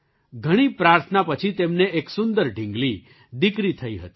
ઘણી પ્રાર્થના પછી તેમને એક સુંદર ઢીંગલી દીકરી થઈ હતી